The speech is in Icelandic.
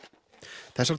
þessar